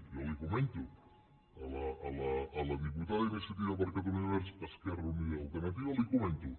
jo li comento a la diputada d’iniciativa per catalunya verds esquerra unida i alternativa li ho comento